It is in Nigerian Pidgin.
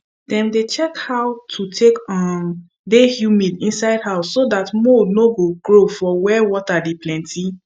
dem dey check how e take um dey humid inside house so dat mold no grow for where water dey plenty